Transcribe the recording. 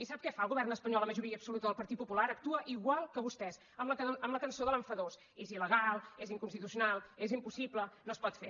i sap què fa el govern espanyol la majoria absoluta del partit popular actua igual que vostès amb la cançó de l’enfadós és il·legal és inconstitucional és impossible no es pot fer